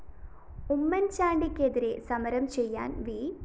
ഉമ്മന്‍ചാണ്ടിക്കെതിരേ സമരം ചെയ്യാന്‍ വി